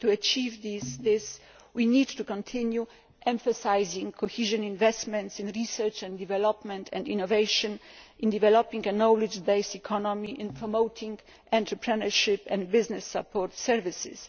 To achieve this we need to continue emphasising cohesion policy investment in research and development, and innovation in developing a knowledge based economy and in promoting entrepreneurship and business support services.